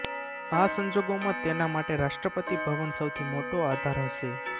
આ સંજોગોમાં તેના માટે રાષ્ટ્રપતિ ભવન સૌથી મોટો આધાર હશે